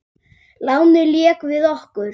Lánið lék við okkur.